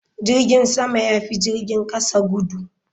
Jirgin sama ya fi jirgin kasa gudu.